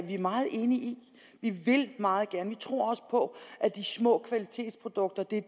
vi meget enige i vi vil det meget gerne tror også på at de små kvalitetsprodukter er